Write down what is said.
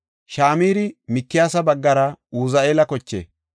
Shamiri Mikiyaasa baggara Uzi7eela koche.